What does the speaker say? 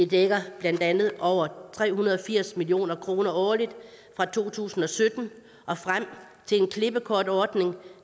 dækker blandt andet over tre hundrede og firs million kroner årligt fra to tusind og sytten og frem til en klippekortordning